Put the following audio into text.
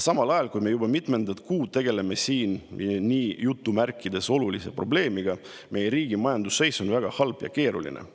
Samal ajal, kui me juba mitmendat kuud tegeleme siin "olulise" probleemiga, on meie riigi majanduse seis väga halb ja keeruline.